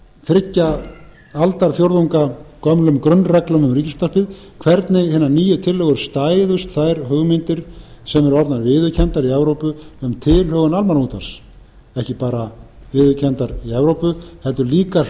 þriggja aldarfjórðunga gömlum grunnreglum um ríkisútvarpið hvernig hinar nýju tillögur stæðust þær hugmyndir sem eru orðnar viðurkenndar í evrópu um tilhögun almannaútvarps ekki bara viðurkenndar í evrópu heldur líka